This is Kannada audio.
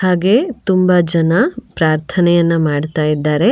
ಹಾಗೆ ತುಂಬಾ ಜನ ಪ್ರಾರ್ಥನೆಯನ್ನ ಮಾಡ್ತಾ ಇದ್ದಾರೆ.